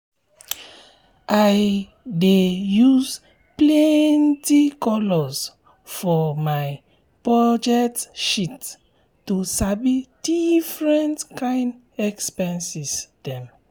i dey use plenty colours for my budget sheet to sabi different kind expenses dem.